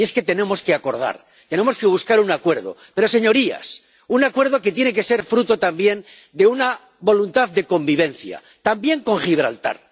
Y es que tenemos que buscar un acuerdo, pero, señorías, un acuerdo que tiene que ser fruto también de una voluntad de convivencia, también con Gibraltar.